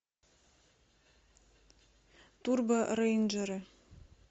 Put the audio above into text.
турбо рейнджеры